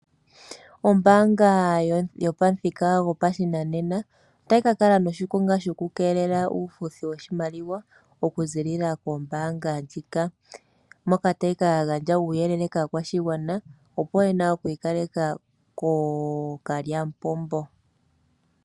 Ombaanga yopamuthika gopashinanena otayi kakala noshikonga shokukeelela uufuthi woshimaliwa okuziilila kombaanga huka . Moka tayi ka gandja uuyelele koshigwana wokwiikaleka kokule nookalyamupombo.